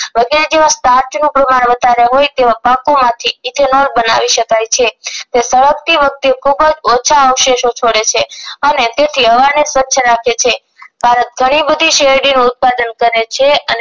વગેરે જેવા સ્ટાર્ચ નું પ્રમાણ વધારે હોય તેવા પાકો માંથી ethanol બનાવી શકે છે જે સળગતી વખતે ખુબજ ઓછા અવશેષો છોડે છે અને તેથી હવા ને સ્વછ રાખે છે ભારત ઘણી બધી શેરડી નું ઉત્પાદન કરે છે અને